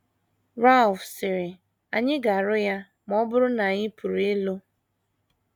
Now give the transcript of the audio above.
Ralph sịrị, “ Anyị ga - rụ ya ma ọ bụrụ na anyị pụrụ ịlụ. ”